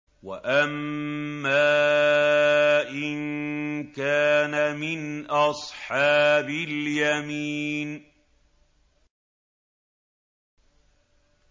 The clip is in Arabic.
وَأَمَّا إِن كَانَ مِنْ أَصْحَابِ الْيَمِينِ